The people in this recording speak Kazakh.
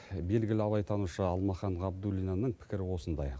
белгілі абайтанушы алмахан ғабдуллинаның пікірі осындай